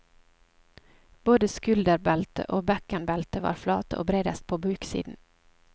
Både skulderbeltet og bekkenbeltet var flate og bredest på buksiden.